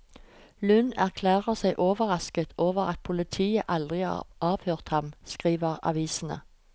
Lund erklærer seg overrasket over at politiet aldri har avhørt ham, skriver avisene.